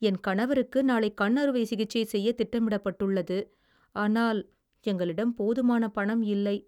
என் கணவருக்கு நாளை கண் அறுவை சிகிச்சை செய்ய திட்டமிடப்பட்டுள்ளது, ஆனால் எங்களிடம் போதுமான பணம் இல்லை.